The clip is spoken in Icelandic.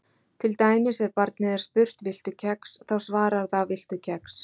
Til dæmis ef barnið er spurt: Viltu kex? þá svarar það Viltu kex?